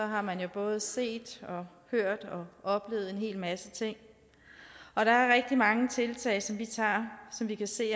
har man jo både set og hørt og oplevet en hel masse ting og der er rigtig mange tiltag som vi tager som vi kan se